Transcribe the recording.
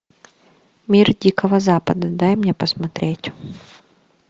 мир дикого запада дай мне посмотреть